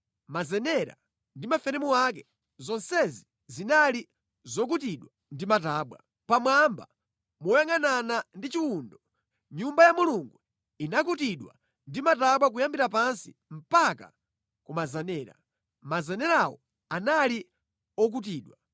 mazenera ndi maferemu ake, zonsezi zinali zokutidwa ndi matabwa. Pamwamba moyangʼanana ndi chiwundo, Nyumba ya Mulungu inakutidwa ndi matabwa kuyambira pansi mpaka ku mazenera, (mazenerawo anali okutidwa),